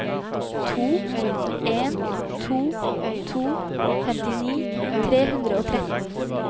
to en to to femtini tre hundre og tretten